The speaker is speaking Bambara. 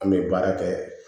An bɛ baara kɛ